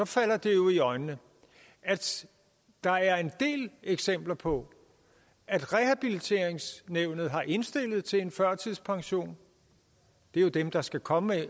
falder det jo i øjnene at der er en del eksempler på at rehabiliteringsnævnet har indstillet til en førtidspension det er jo dem der skal komme